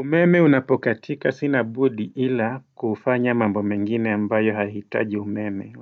Umeme unapokatika sina budi ila kufanya mambo mengine ambayo hahitaji umeme